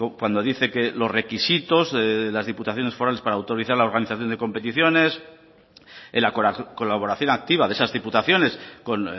cuando dice que los requisitos de las diputaciones forales para autorizar la organización de competiciones la colaboración activa de esas diputaciones con